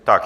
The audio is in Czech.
Tak.